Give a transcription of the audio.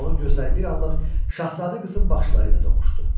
Onun gözləri bir anlıq şahzadə qızın baxışları ilə toqquşdu.